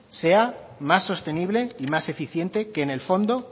sea más sostenible y más eficiente que en el fondo